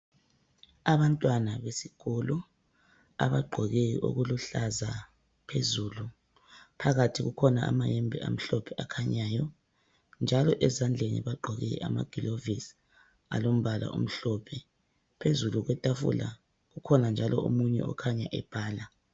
Abantwana besikolo abagqoke okuluhlaza phezulu phakathi kukhona amayembe amhlophe akhanyayo. Phezulu kwetafula ukhona njalo omunye okhanya ebhala.